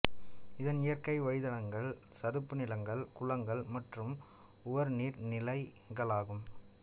இதன் இயற்கை வாழிடங்கள் சதுப்பு நிலங்கள் குளங்கள் மற்றும் உவர் நீர் நிலைகளாகும்